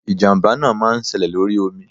ijamba náá máà ń séle lorí omí